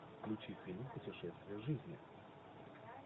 включи фильм путешествие в жизни